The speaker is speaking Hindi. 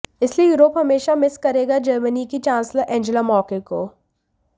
इसलिए यूरोप हमेशा मिस करेगा जर्मनी की चांसलर एंजेला मार्केल को